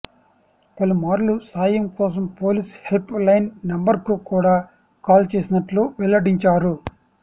పలుమార్లు సాయం కోసం పోలీస్ హెల్ప్ లైన్ నంబర్కు కూడా కాల్ చేసినట్లు వెల్లడించారు